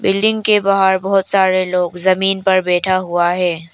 Building के बाहर बहुत सारे लोग जमीन पर बैठा हुआ है।